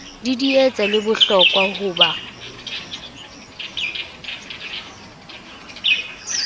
didietsa le lehlokwa bo ha